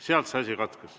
Seal see asi katkes.